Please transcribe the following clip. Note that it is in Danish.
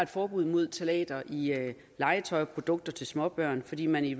forbud mod ftalater i legetøj og produkter til småbørn fordi man i